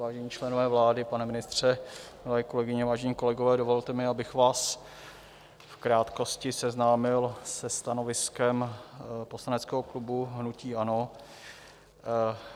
Vážení členové vlády, pane ministře, milé kolegyně, vážení kolegové, dovolte mi, abych vás v krátkosti seznámil se stanoviskem poslaneckého klubu hnutí ANO.